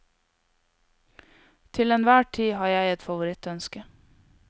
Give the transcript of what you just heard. Til en hver tid har jeg et favorittønske.